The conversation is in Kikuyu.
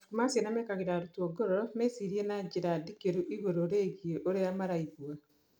Mabuku ma ciana mekagĩra arutwo ngoro mecirie na njĩra ndikĩru igũrũ rĩgiĩ ũrĩa maraigua.